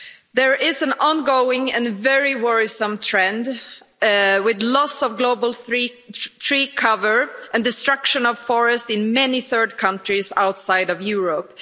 There is an ongoing and very worrisome trend, with the loss of global tree cover and the destruction of forest in many third countries outside of Europe.